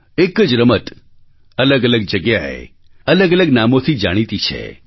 એક જ રમત અલગઅલગ જગ્યાએ અલગઅલગ નામોથી જાણીતી છે